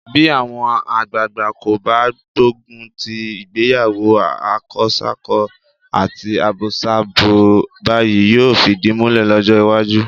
Bí àwọn àgbàagbà kò bá gbógun ti ìgbéyàwó akọsákọ àti abosábo báyìí, yóò fìdí múlẹ̀ lọ́jọ́ iwájú.